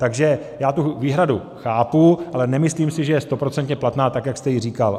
Takže já tu výhradu chápu, ale nemyslím si, že je stoprocentně platná tak, jak jste ji říkal.